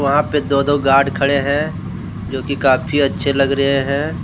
वहां पे दो दो गार्ड खड़े हैं जो की काफी अच्छे लग रहे हैं।